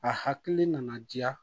A hakili nana diya